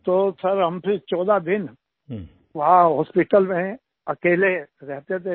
तो सिर फिर हम 14 दिन वहां हॉस्पिटल में अकेले रहते थे